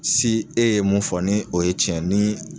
e ye mun fɔ ni o ye tiɲɛ ni